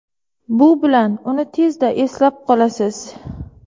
Bu bilan uni tezda eslab qolasiz.